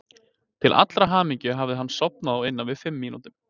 Til allrar hamingju hafði hann sofnað á innan við fimm mínútum.